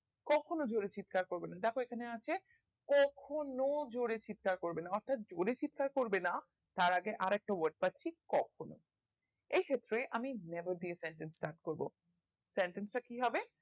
কখনো জোরে চিৎকার করবেনা দ্যাখো এখানে আছে কখনো জোরে চিৎকার করবেনা অর্থাৎ জোরে চিৎকার করবেনাতার আগে আরেকটা word শিক্ষক কখনো এই ক্ষেত্রে আমি দিয়ে sentence start করবো sentence টা কি হবে